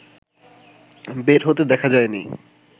বের হতে দেখা যায়নি